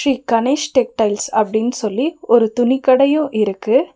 Sri Ganesh textiles அப்டின் சொல்லி ஒரு துணிக்கடையு இருக்கு.